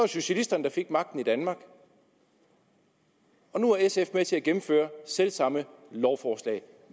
socialisterne der fik magten i danmark og nu er sf med til at gennemføre selv samme lovforslag